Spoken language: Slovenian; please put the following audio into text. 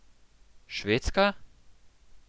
Švedska?